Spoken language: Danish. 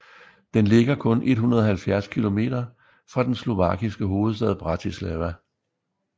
Den ligger kun 170 kilometer fra den slovakiske hovedstad Bratislava